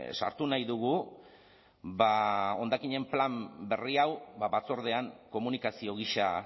sartu nahi dugu ba hondakinen plan berri hau batzordean komunikazio gisa